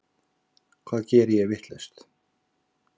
Hvað geri ég vitlaust?